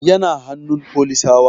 Yana hannun folisawa